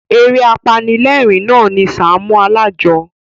Eré apanilérìn na ni Sàámú Alájọ.